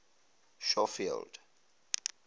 schofield